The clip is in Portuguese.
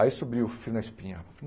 Aí subiu o frio na espinha.